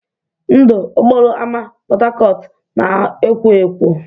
Ndụ okporo ámá Port Harcourt na-ekwọ ekwọ.